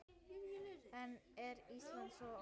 En er Ísland svo ódýrt?